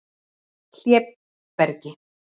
Hlébergi